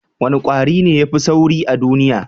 Wane kwari ne ya fi sauri a duniya?